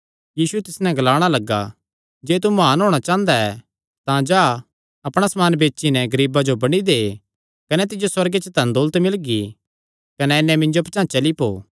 यीशु तिस नैं ग्लाणा लग्गा जे तू म्हान होणा चांह़दा ऐ तां जा अपणा समान बेची नैं गरीबां जो बंडी दे कने तिज्जो सुअर्गे च धन दौलत मिलगी कने आई नैं मिन्जो पचांह़ चली पौ